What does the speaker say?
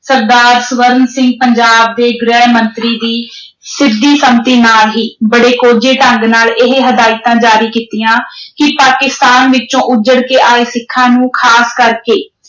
ਸਰਦਾਰ ਸਵਰਨ ਸਿੰਘ ਪੰਜਾਬ ਦੇ ਗ੍ਰਹਿ ਮੰਤਰੀ ਦੀ ਸਿੱਧੀ ਸੰਮਤੀ ਨਾਲ ਹੀ ਬੜੇ ਕੋਝੇ ਢੰਗ ਨਾਲ ਇਹ ਹਦਾਇਤਾਂ ਜਾਰੀ ਕੀਤੀਆਂ ਕਿ ਪਾਕਿਸਤਾਨ ਵਿਚੋਂ ਉੱਜੜ ਕੇ ਆਏ ਸਿੱਖਾਂ ਨੂੰ ਖਾਸ ਕਰਕੇ